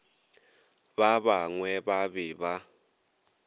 ba bangwe ba be ba